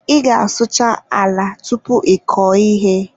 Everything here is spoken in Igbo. Ị ga-asụcha ala tupu ị kọọ ihe.